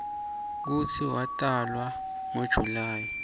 kutsi watalwa ngo july